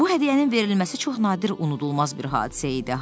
Bu hədiyyənin verilməsi çox nadir unudulmaz bir hadisə idi.